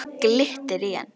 Glittir í hann.